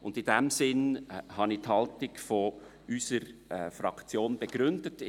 In diesem Sinne habe ich die Haltung unserer Fraktion begründet.